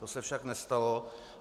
To se však nestalo.